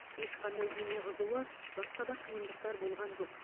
ешқандай дене қызуы басқа да қиындықтар болған жоқ